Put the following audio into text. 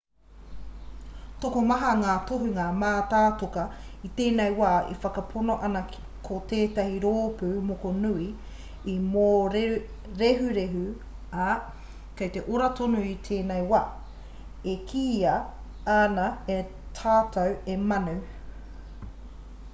tokomaha ngā tohunga mātātoka i tēnei wā e whakapono ana ko tētahi rōpū mokonui i mōrehurehu ā kei te ora tonu i tēnei wā e kīia ana e tātou he manu